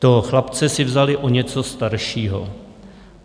Toho chlapce si vzali o něco staršího.